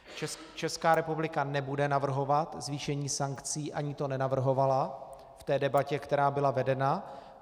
Česká republika nebude navrhovat zvýšení sankcí, ani to nenavrhovala v té debatě, která byla vedena.